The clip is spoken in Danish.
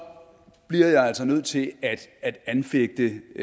bliver jeg altså nødt til at anfægte